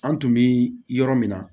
An tun bɛ yɔrɔ min na